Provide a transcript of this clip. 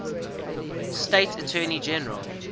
state attorney general